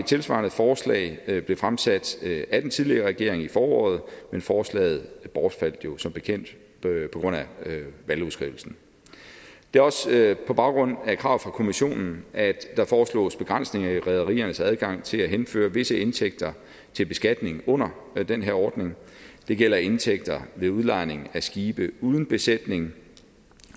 tilsvarende forslag blev fremsat af den tidligere regering i foråret men forslaget bortfaldt jo som bekendt på grund af valgudskrivelsen det er også på baggrund af krav fra kommissionen at der foreslås begrænsninger i rederiernes adgang til at henføre visse indtægter til beskatning under den her ordning det gælder indtægter ved udlejning af skibe uden besætning